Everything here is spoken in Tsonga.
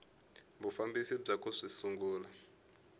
vufambisi bya ku swi sungula